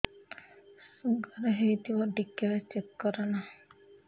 sugar ହେଇଥିବ ଟିକେ check କର ନା